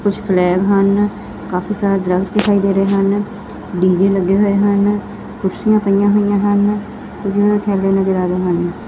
ਕੁਛ ਫਲੈਗ ਹਨ ਕਾਫੀ ਸਾਰੇ ਦਰੱਖਤ ਦਿਖਾਈ ਦੇ ਰਹੇ ਹਨ ਡੀ_ਜੈ ਲੱਗੇ ਹੋਏ ਹਨ ਕੁਰਸੀਆਂ ਪਈਆਂ ਹੋਇਆ ਹਨ ਥੈੱਲੇ ਨਜਰ ਆ ਰਹੇ ਹਨ।